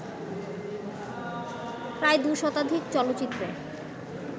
প্রায় দুশতাধিক চলচ্চিত্রে